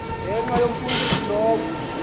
ngenxa yomfundisi lowo